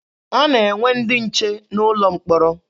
A na-enwe ndị nche n'ụlọ mkpọrọ.